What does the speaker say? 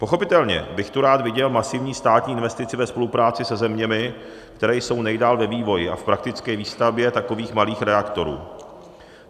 Pochopitelně bych tu rád viděl masivní státní investici ve spolupráci se zeměmi, které jsou nejdál ve vývoji a v praktické výstavbě takových malých reaktorů.